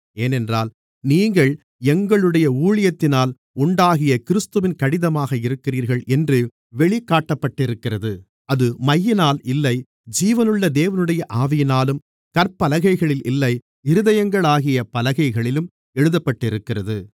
ஏனென்றால் நீங்கள் எங்களுடைய ஊழியத்தினால் உண்டாகிய கிறிஸ்துவின் கடிதமாக இருக்கிறீர்கள் என்று வெளிக்காட்டப்பட்டிருக்கிறது அது மையினால் இல்லை ஜீவனுள்ள தேவனுடைய ஆவியினாலும் கற்பலகைகளில் இல்லை இருதயங்களாகிய பலகைகளிலும் எழுதப்பட்டிருக்கிறது